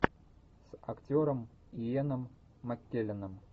с актером иэном маккелленом